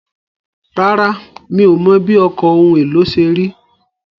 Rárá, mi ò mọ̀ bí ọkọ̀ ohun èlò ṣe rí.